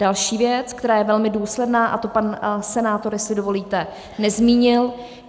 Další věc, která je velmi důsledná, a to pan senátor, jestli dovolíte, nezmínil.